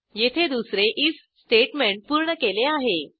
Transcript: येथे दुसरे IF statement पूर्ण केले आहे